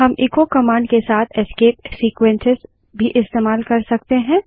हम echo command के साथ एस्केप सीक्वेन्सेस भी इस्तेमाल कर सकते हैं